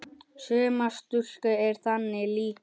Sumar stúlkur eru þannig líka.